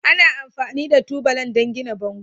Ana amfani da tubalan don gina bango.